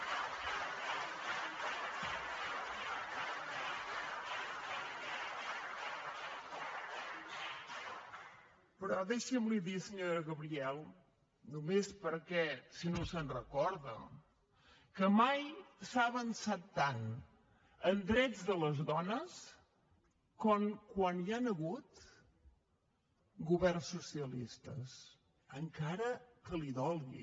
però deixi’m dir li senyora gabriel només per si no se’n recorda que mai s’ha avançat tant en drets de les dones com quan hi han hagut governs socialistes encara que li dolgui